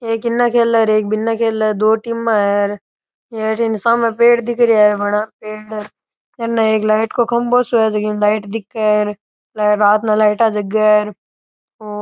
एक इने खेल रे और एक बिंने खेल रे है दो टीमा है और ये अठीन सामने पेड़ दिख रेहा है बड़ा पेड़ अने एक लाइट को खम्भों सो है जकी में लाइट दिखे है रात में लाइटा जगे है और--